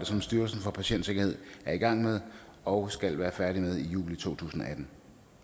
som styrelsen for patientsikkerhed er i gang med og skal være færdig med i juli to tusind og atten